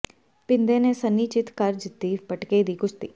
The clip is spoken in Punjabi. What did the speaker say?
ਭਿੰਦੇ ਨੇ ਸੰਨੀ ਚਿੱਤ ਕਰ ਜਿੱਤੀ ਪਟਕੇ ਦੀ ਕੁਸ਼ਤੀ